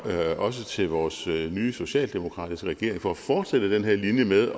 også til vores nye socialdemokratiske regering for at fortsætte den her linje med